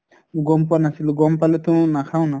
গম পোৱা নাছিলো, গম পালেতো নাখাও না